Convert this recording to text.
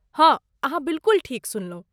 हँ, अहाँ बिलकुल ठीक सुनलहुँ।